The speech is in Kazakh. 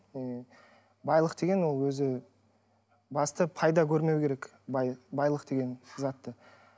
м байлық деген ол өзі басты пайда көрмеу керек байлық деген затты